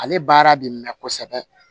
Ale baara bɛ mɛn kosɛbɛ